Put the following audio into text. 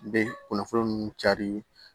N bɛ kunnafoni ninnu cari